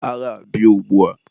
agha a bie ugbua!